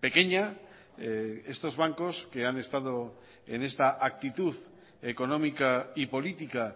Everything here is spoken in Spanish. pequeña estos bancos que han estado en esta actitud económica y política